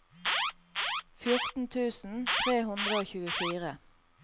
fjorten tusen tre hundre og tjuefire